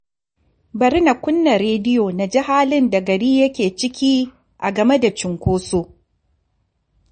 Bari na kunna rediyo na ji halin da gari yake ciki a game da cunkoso